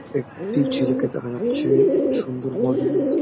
একটি ছেলেকে দেখা যাচ্ছেসুন্দর বডি ।